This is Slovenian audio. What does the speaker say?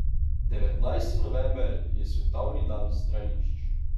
Devetnajsti november je svetovni dan stranišč.